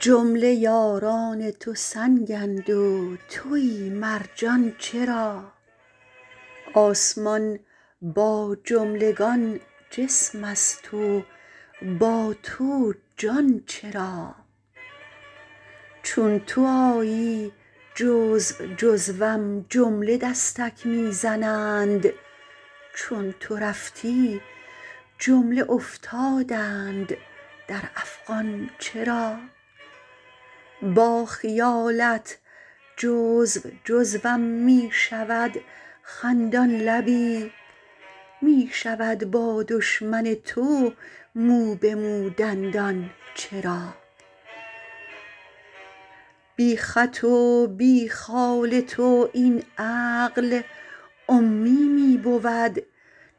جمله یاران تو سنگند و توی مرجان چرا آسمان با جملگان جسمست و با تو جان چرا چون تو آیی جزو جزوم جمله دستک می زنند چون تو رفتی جمله افتادند در افغان چرا با خیالت جزو جزوم می شود خندان لبی می شود با دشمن تو مو به مو دندان چرا بی خط و بی خال تو این عقل امی می بود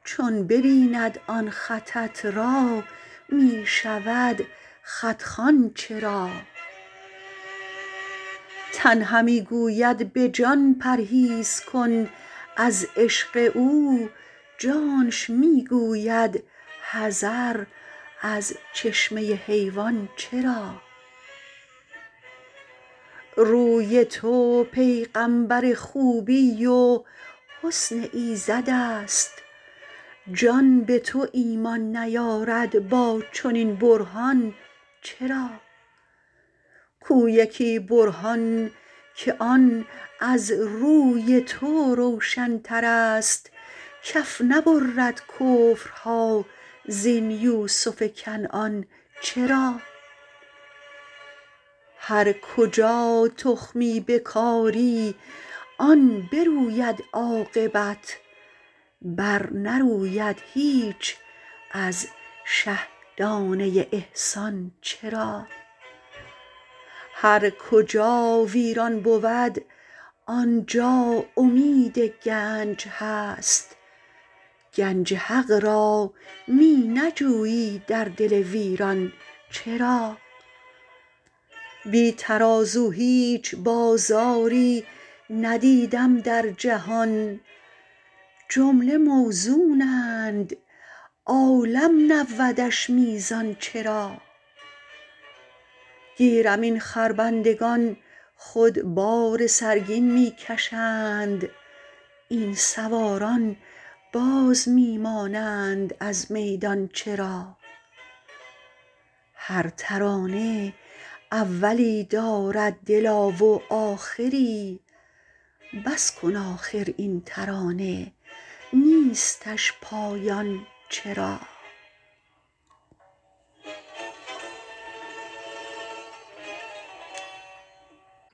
چون ببیند آن خطت را می شود خط خوان چرا تن همی گوید به جان پرهیز کن از عشق او جانش می گوید حذر از چشمه حیوان چرا روی تو پیغامبر خوبی و حسن ایزدست جان به تو ایمان نیارد با چنین برهان چرا کو یکی برهان که آن از روی تو روشنترست کف نبرد کفرها زین یوسف کنعان چرا هر کجا تخمی بکاری آن بروید عاقبت برنروید هیچ از شه دانه ی احسان چرا هر کجا ویران بود آن جا امید گنج هست گنج حق را می نجویی در دل ویران چرا بی ترازو هیچ بازاری ندیدم در جهان جمله موزونند عالم نبودش میزان چرا گیرم این خربندگان خود بار سرگین می کشند این سواران باز می مانند از میدان چرا هر ترانه اولی دارد دلا و آخری بس کن آخر این ترانه نیستش پایان چرا